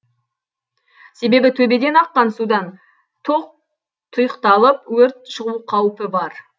себебі төбеден аққан судан тоқ тұйықталып өрт шығу қаупі бар